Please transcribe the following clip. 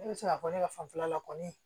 Ne bɛ se k'a fɔ ne ka fanfɛla kɔni